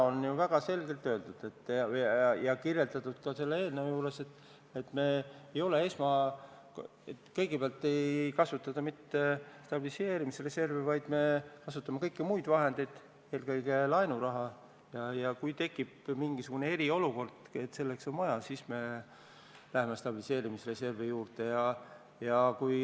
Täna on ju väga selgelt öeldud ja kirjeldatud ka eelnõu juures, et kõigepealt ei kasutata mitte stabiliseerimisreservi, vaid kõiki muid vahendeid, eelkõige laenuraha, ning kui tekib mingisugune eriolukord ja selleks on vahendeid vaja, siis me läheme stabiliseerimisreservi kallale.